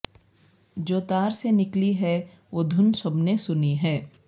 جو تار سے نکلی ہے وہ دھن سب نے سنی ہے